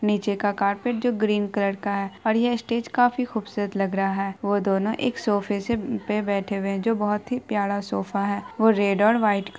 निचे के कारपेट जो ग्रीन कलर का है और ये स्टेज काफी खुबसूरत लग रहा है वो दोनों एक सोफे से बेठे है जो बहुत ही प्यारा सोफा है वो रेड और वाईट--